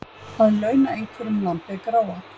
Að launa einhverjum lambið gráa